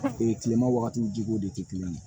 kilema wagatiw ji ko de tɛ kelen ye